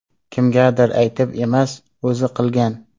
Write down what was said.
Kimgadir aytib emas, o‘zi qilgan.